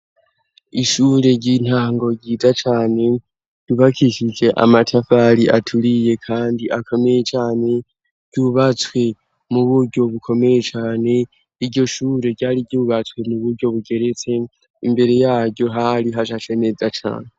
ishure ry'intango ryiza cane ryubakishije amatafari aturiye kandi akomeye cane ryubatswe mu buryo bukomeye cane iryo shure ryari ryubatswe muburyo bugeretse imbere yaryo hari hashashe neza cane